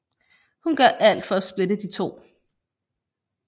Hun gør alt for at splitte de to